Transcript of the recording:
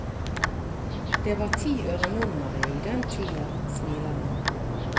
Det var ti øre nummeret i den tida, smiler han.